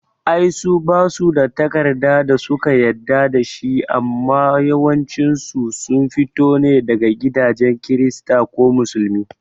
Ai su basu da takarda da suka yadda dashi amma yawancin su sun fito ne daga gidajen kirista ko musulmi